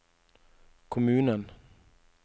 kommunen